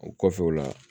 O kɔfɛ o la